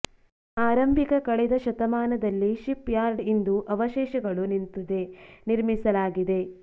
ಆರಂಭಿಕ ಕಳೆದ ಶತಮಾನದಲ್ಲಿ ಶಿಪ್ ಯಾರ್ಡ್ ಇಂದು ಅವಶೇಷಗಳು ನಿಂತಿದೆ ನಿರ್ಮಿಸಲಾಗಿದೆ